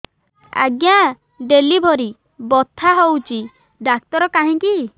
ଆଜ୍ଞା ଡେଲିଭରି ବଥା ହଉଚି ଡାକ୍ତର କାହିଁ କି